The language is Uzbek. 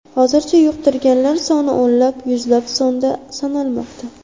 Hozircha yuqtirganlar soni o‘nlab, yuzlab sonda sanalmoqda.